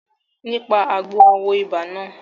Nípa àgbo a wo ibà náà